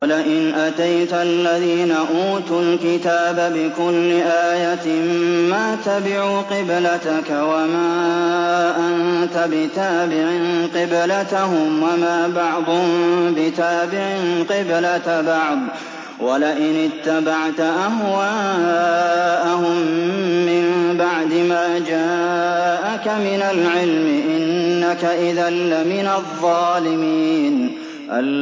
وَلَئِنْ أَتَيْتَ الَّذِينَ أُوتُوا الْكِتَابَ بِكُلِّ آيَةٍ مَّا تَبِعُوا قِبْلَتَكَ ۚ وَمَا أَنتَ بِتَابِعٍ قِبْلَتَهُمْ ۚ وَمَا بَعْضُهُم بِتَابِعٍ قِبْلَةَ بَعْضٍ ۚ وَلَئِنِ اتَّبَعْتَ أَهْوَاءَهُم مِّن بَعْدِ مَا جَاءَكَ مِنَ الْعِلْمِ ۙ إِنَّكَ إِذًا لَّمِنَ الظَّالِمِينَ